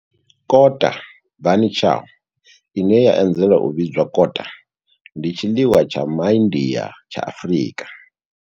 Kota, bunny chow, ine ya anzela u vhidzwa kota, ndi tshiḽiwa tsha MA India tsha Afrika.